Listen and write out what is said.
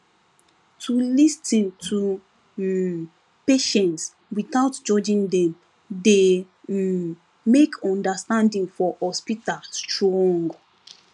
to lis ten to um patients without judging dem dey um make understanding for hospital strong